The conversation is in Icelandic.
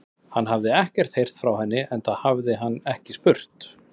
Hann hafði ekkert heyrt frá henni, enda hafði hann ekki spurt.